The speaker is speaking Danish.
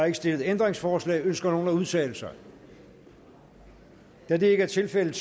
ikke stillet ændringsforslag ønsker nogen at udtale sig da det ikke er tilfældet